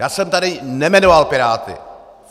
Já jsem tady nejmenoval Piráty.